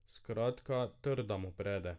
Skratka, trda mu prede.